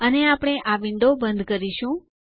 અને આપણે આ વિન્ડો બંધ કરીશું